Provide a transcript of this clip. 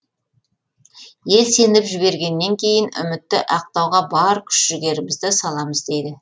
ел сеніп жібергеннен кейін үмітті ақтауға бар күш жігерімізді саламыз дейді